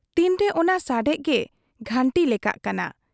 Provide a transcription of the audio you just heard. ᱛᱤᱱᱨᱮ ᱚᱱᱟ ᱥᱟᱰᱮᱜᱮ ᱜᱷᱟᱺᱴᱤ ᱞᱮᱠᱟᱜ ᱠᱟᱱᱟ ᱾